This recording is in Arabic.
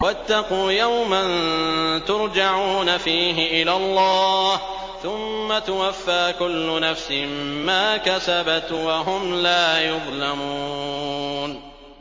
وَاتَّقُوا يَوْمًا تُرْجَعُونَ فِيهِ إِلَى اللَّهِ ۖ ثُمَّ تُوَفَّىٰ كُلُّ نَفْسٍ مَّا كَسَبَتْ وَهُمْ لَا يُظْلَمُونَ